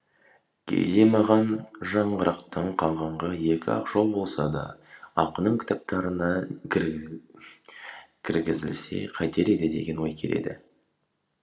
кейде маған жаңғырықтан қалғаны екі ақ жол болса да ақынның кітаптарына кіргізілсе қайтер еді деген ой келеді